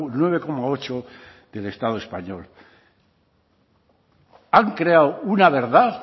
nueve coma ocho del estado español han creado una verdad